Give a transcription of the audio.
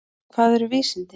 Hvað eru vísindi?